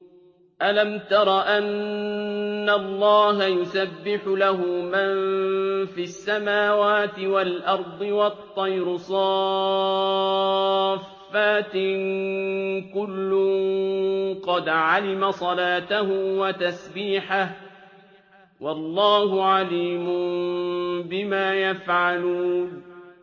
أَلَمْ تَرَ أَنَّ اللَّهَ يُسَبِّحُ لَهُ مَن فِي السَّمَاوَاتِ وَالْأَرْضِ وَالطَّيْرُ صَافَّاتٍ ۖ كُلٌّ قَدْ عَلِمَ صَلَاتَهُ وَتَسْبِيحَهُ ۗ وَاللَّهُ عَلِيمٌ بِمَا يَفْعَلُونَ